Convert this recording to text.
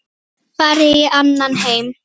Farin í annan heim.